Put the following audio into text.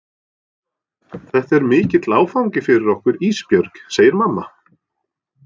Þetta er mikill áfangi fyrir okkur Ísbjörg, segir mamma.